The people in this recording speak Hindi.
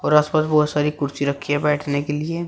और आस पास बहोत सारी कुर्सी रखी हैं बैठने के लिए--